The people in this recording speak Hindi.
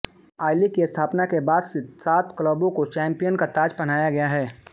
आईलीग की स्थापना के बाद से सात क्लबों को चैंपियन का ताज पहनाया गया है